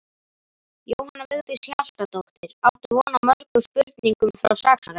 Jóhanna Vigdís Hjaltadóttir: Áttu von á mörgum spurningum frá saksóknara?